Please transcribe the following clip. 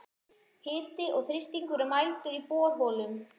Hiti og þrýstingur er mældur í borholum.